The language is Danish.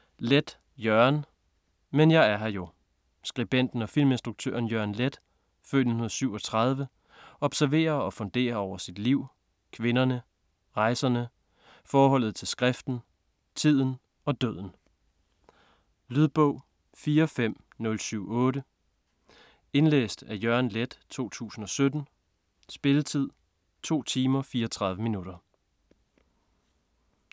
Leth, Jørgen: Men jeg er her jo Skribenten og filminstruktøren Jørgen Leth (f. 1937) observerer og funderer over sit liv, kvinderne, rejserne, forholdet til skriften, tiden og døden. Lydbog 45078 Indlæst af Jørgen Leth, 2017. Spilletid: 2 timer, 34 minutter.